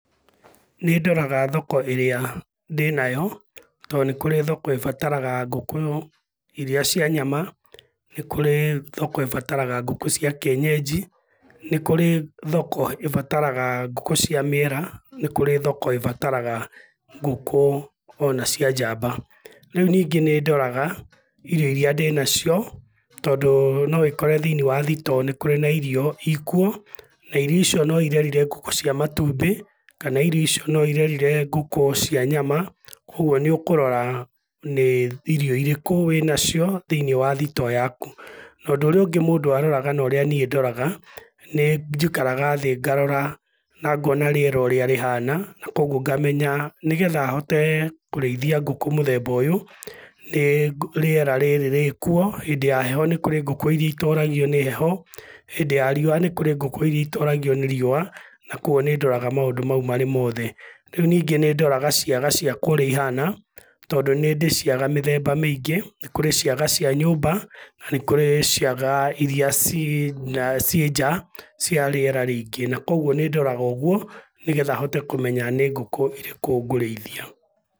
Nĩndoraga thoko ĩrĩa, ndĩnayo, tondũ nĩ kũrĩ thoko ĩbataraga ngũkũ, iria cia nyama, nĩ kũrĩ thoko ĩbataraga ngũkũ cia kienyenji, nĩ kũrĩ thoko ĩbataraga ngũkũ cia mĩera, nĩ kũrĩ thoko ĩbataraga ngũkũ ona cia njamba. Rĩu ningĩ nĩndoraga, irio iria ndĩnacio, tondũ no wĩkore thĩiniĩ wa thitoo nĩ kũrĩ na irio ikuo, na irio icio no irerire ngũkũ cia matumbĩ, kana irio ico no irerire ngũkũ cia nyama, kuoguo nĩũkũrora nĩ irio irĩkũ wĩnacio, thĩiniĩ wa thitoo yaku. Na ũndũ ũrĩa ũngĩ mũndũ aroraga na ũrĩa niĩ ndoraga, nĩnjikaraga thĩ ngarora na ngona rĩera ũrĩa rĩhana, na kuoguo ngamenya, nĩgetha hote kũrĩithia ngũkũ mũthemba ũyũ, nĩ rĩera rĩrĩ rĩkuo, hĩndĩ ya heho nĩ kũrĩ ngũkũ iria itoragio nĩ heho, hĩndĩ ya riũa nĩ kũrĩ ngũkũ iria itoragio nĩ riũa, na kuoguo nĩndoraga maũndũ mau marĩ mothe. Rĩu ningĩ nĩndoraga ciaga ciakwa ũrĩa ihana, tondũ nĩndĩ ciaga mĩthemba mĩingĩ, nĩ kũrĩ ciaga cia nyũmba, na nĩ kũrĩ ciaga iria ciĩ ciĩ nja, cia rĩera rĩingĩ na kuoguo nĩndoraga ũgũo, nĩgetha hote kũmenya nĩ ngũkũ ĩrĩkũ ngũrĩithia.